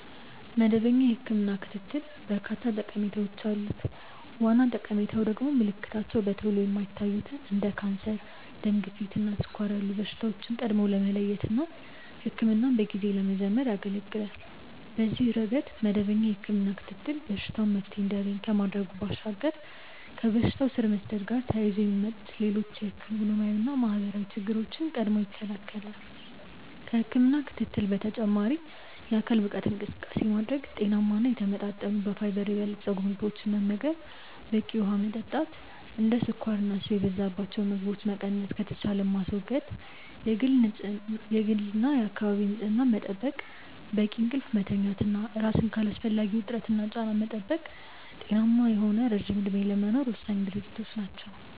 መደበኛ የህክምና ክትትል በርካታ ጠቀሜታዎች አሉት። ዋና ጠቀሜታው ደግሞ ምልክታቸው በቶሎ የማይታዩትን እንደ ካንሰር፣ ደም ግፊት እና ስኳር ያሉ በሽታዎችን ቀድሞ ለመለየት እና ህክምናን በጊዜ ለመጀመር ያገለገላል። በዚህ ረገድ መደበኛ የህክምና ክትትል በሽታው መፍትሔ እንዲያገኝ ከማድረጉ ባሻገር ከበሽታው ስር መስደድ ጋር ተያይዞ የሚመጡ ሌሎች ኢኮኖሚያዊና ማህበራዊ ችግሮችን ቀድሞ ይከለከላል። ከህክምና ክትትል በተጨማሪ የአካል ብቃት እንቅስቃሴ ማድረግ፣ ጤናማ እና የተመጣጠኑ በፋይበር የበለፀጉ ምግቦችን መመገብ፣ በቂ ውሀ መጠጣት፣ እንደ ስኳርና ስብ የበዛባቸው ምግቦችን መቀነስ ከተቻለም ማስወገድ፣ የግልና የአካባቢ ንጽህና መጠበቅ፣ በቂ እንቅልፍ መተኛት እና ራስን ከአላስፈላጊ ውጥረትና ጫና መጠበቅ ጤናማ የሆነ ረጅም እድሜ ለመኖር ወሳኝ ድርጊቶች ናቸው።